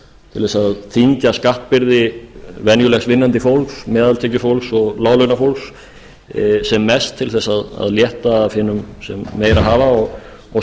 til þess að þyngja skattbyrði venjulegs vinnandi fólks meðaltekjufólks og láglaunafólks sem mest til þess að létta af hinum sem meira hafa og